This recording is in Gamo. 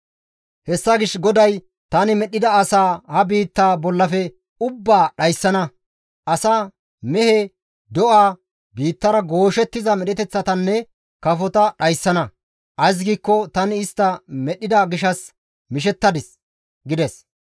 Hessa gishshas GODAY, «Tani medhdhida asaa ha biitta bollafe ubbaa dhayssana; asa, mehe, do7a, biittara gooshettiza medheteththatanne kafota dhayssana; ays giikko tani istta medhdhida gishshas mishettadis» gides.